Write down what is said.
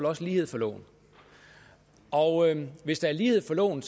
også lighed for loven og hvis der er lighed for loven